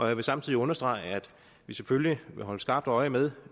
jeg vil samtidig understrege at vi selvfølgelig vil holde skarpt øje med